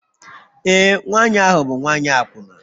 Ee, nwanyị ahụ bụ nwanyị akwụna